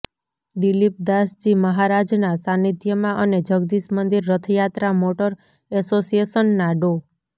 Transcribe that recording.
દિલીપદાસજી મહારાજના સાંનિધ્યમાં અને જગદીશ મંદિર રથયાત્રા મોટર એસોસિયેશનના ડો